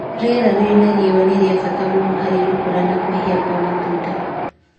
Rĩera rĩrĩ na riũa nĩ rĩa bata mũno harĩ gũkũra na kũhĩa kwa matunda.